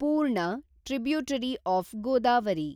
ಪೂರ್ಣ, tributary of Godavari